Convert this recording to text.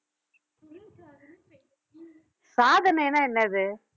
சாதனைனா என்னது